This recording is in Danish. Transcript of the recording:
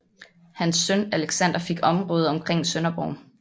Hans søn Alexander fik området omkring Sønderborg